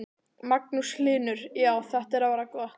Magnús Hlynur: Já, þetta er að verða gott?